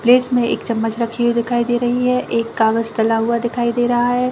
Fridge में एक चमचम रखी हुई दिखाई दे रही है एक कागज डला हुआ दिखाई दे रहा है।